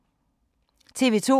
TV 2